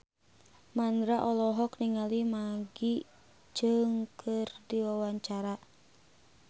Mandra olohok ningali Maggie Cheung keur diwawancara